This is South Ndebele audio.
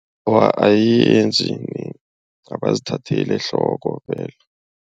Awa ayenzi abazithatheli ehloko